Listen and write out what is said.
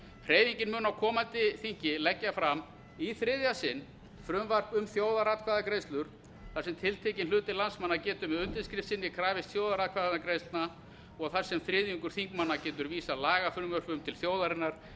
hreyfingin mun á komandi þingi leggja fram í þriðja sinn frumvarp um þjóðaratkvæðagreiðslur þar sem tiltekinn hluti landsmanna getur með undirskrift sinni krafist þjóðaratkvæðagreiðslna og þar sem þriðjungur þingmanna getur vísað lagafrumvörpum til þjóðarinnar